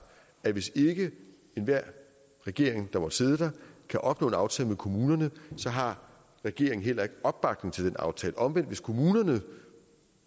at hvis ikke enhver regering der måtte sidde der kan opnå en aftale med kommunerne har regeringen heller ikke opbakning til den aftale omvendt hvis kommunerne